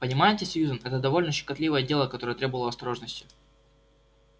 понимаете сьюзен это довольно щекотливое дело которое требовало осторожности